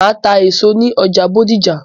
Màá ta èso ní ọjà Bódìjà